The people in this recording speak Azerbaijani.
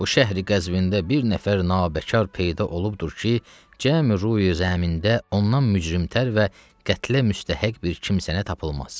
Bu şəhri-Qəzvində bir nəfər nabəkar peyda olubdur ki, cəmi-rüyi-zəmində ondan mücrimtər və qətlə müstəhəq bir kimsənə tapılmaz.